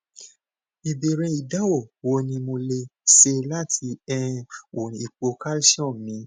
ìbéèrè idanwo wo ni mo le se lati um wo ipo calcium mi